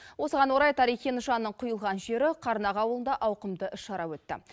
осыған орай тарихи нышанның құйылған жері қарнақ ауылында ауқымды іс шара өтті